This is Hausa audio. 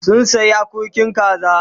Sun sayi akurkin kaza